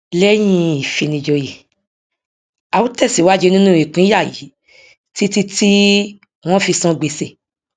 lẹyìn ìfinijòyè a ó tẹsìwájú nínú ìpínyà yìí títí tí wọn fi san gbèsè